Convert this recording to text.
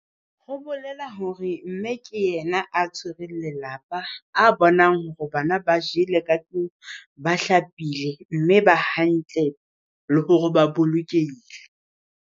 Ho bolela hore mme ke yena a tshwere lelapa a bonang hore bana ba jele ka tlung ba hlapile mme ba hantle le hore ba bolokehile.